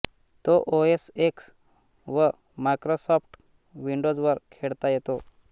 तो OS X व Microsoft विंडोजवर खेळता येतो